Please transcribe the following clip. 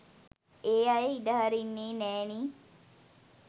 ඒ අය ඉඩහරින්නේ නෑනේ.